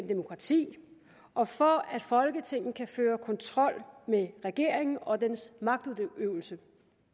demokrati og for at folketinget kan føre kontrol med regeringen og dens magtudøvelse